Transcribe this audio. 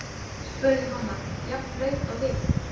spurði mamman, jafn blaut og við.